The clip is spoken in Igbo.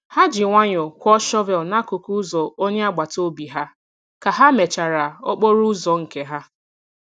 Ha ji nwayọọ kwọọ shọvel n'akụkụ ụzọ onye agbata obi ha ka ha mechara okporo ụzọ nke ha.